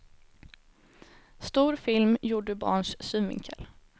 Stor film gjord ur barns synvinkel.